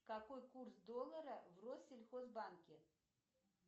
какой курс доллара в россельхозбанке